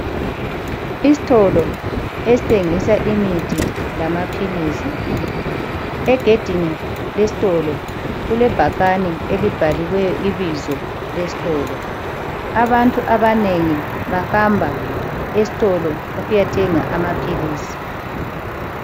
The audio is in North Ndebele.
Isitolo esithengisa imithi lamaphilisi. Egedini lesitolo kulebhakane elibhalwe ibizo lesitolo. Abantu abanengi bahamba esitolo ukuyothenga amaphilisi.